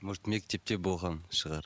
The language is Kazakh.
может мектепте болған шығар